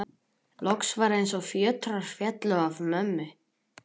Loks var eins og fjötrar féllu af mömmu.